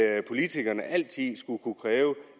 at politikerne altid skulle kunne kræve